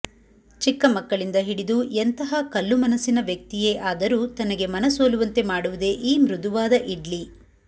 ಚಿಕ್ಕ ಮಕ್ಕಳಿಂದ ಹಿಡಿದು ಎಂತಹ ಕಲ್ಲು ಮನಸ್ಸಿನ ವ್ಯಕ್ತಿಯೇ ಆದರೂ ತನಗೆ ಮನಸೋಲುವಂತೆ ಮಾಡುವುದೇ ಈ ಮೃದುವಾದ ಇಡ್ಲಿ